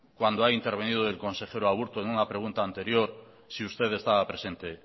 cuando ha intervenido el consejero aburto en una pregunta anterior si usted estaba presente